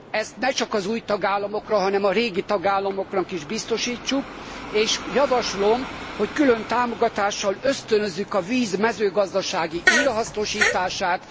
Ezt ne csak az új tagállamoknak, hanem a régi tagállamoknak is biztosítsuk, és javaslom, hogy külön támogatással ösztönözzük a víz mezőgazdasági újrahasznosítását.